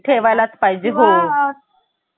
ठेवाय लाच पाहिजे हा